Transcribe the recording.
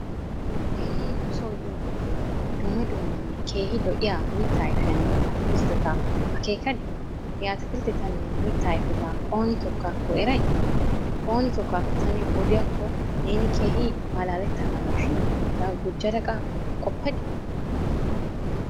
Neeni nu soo yiyo wode dumma dummanne keehi lo"iya mittaa ayfiyaanne atakiltteta akeekadi? He atakilttetanne mitta ayfeta ooni tookkaakko eray? Ooni tokkaakko ta niyo odiyaakko neeni keehii malaalettanaagashin hegaa gujjadaqa qoppadi?